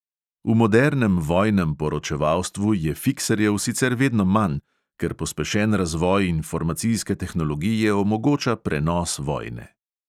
V modernem vojnem poročevalstvu je fikserjev sicer vedno manj, ker pospešen razvoj informacijske tehnologije omogoča prenos vojne.